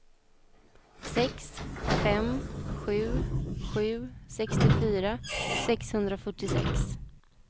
sex fem sju sju sextiofyra sexhundrafyrtiosex